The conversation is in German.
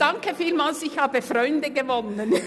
Danke vielmals, ich habe Freunde gewonnen!